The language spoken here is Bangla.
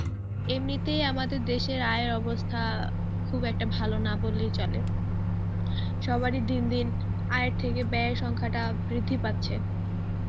এমনিতেই আমাদের দেশের আয়ের অবস্থা খুব একটা ভালো না বললেই চলে সবার এই দিন দিন আয়ের থেকে ব্যয়ের সংখ্যাটা বৃদ্ধি পাচ্ছে